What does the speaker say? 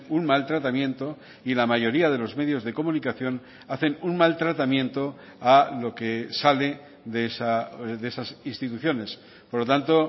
un mal tratamiento y la mayoría de los medios de comunicación hacen un mal tratamiento a lo que sale de esas instituciones por lo tanto